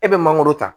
E bɛ mangoro ta